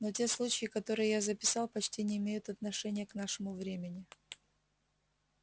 но те случаи которые я записал почти не имеют отношения к нашему времени